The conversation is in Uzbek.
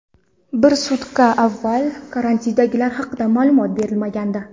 Bir sutka avval karantindagilar haqida ma’lumot berilmagandi.